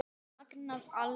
Magnað alveg.